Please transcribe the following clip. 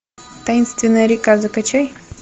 таинственная река закачай